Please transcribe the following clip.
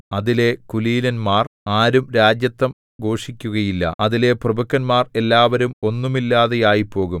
അതിലെ കുലീനന്മാർ ആരും രാജത്വം ഘോഷിക്കുകയില്ല അതിലെ പ്രഭുക്കന്മാർ എല്ലാവരും ഒന്നുമില്ലാതെയായിപ്പോകും